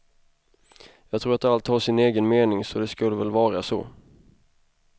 Jag tror att allt har sin egen mening så det skulle väl vara så.